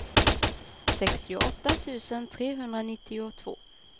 sextioåtta tusen trehundranittiotvå